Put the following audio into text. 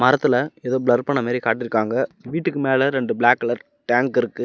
பக்கத்துல எதோ பிளர் பண்ண மாரி காட்டிருக்காங்க வீட்டுக்கு மேல ரெண்டு பிளாக் கலர் டேங்க் இருக்கு.